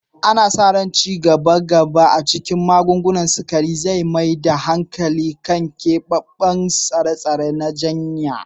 Ana sa ran ci gaban gaba a cikin magungunan ciwon sukari zai mai da hankali kan keɓaɓɓun tsare-tsare na jinya.